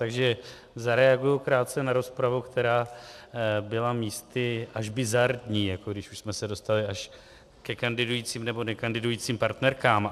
Takže zareaguji krátce na rozpravu, která byla místy až bizarní, jako když už jsme se dostali až ke kandidujícím nebo nekandidujícím partnerkám.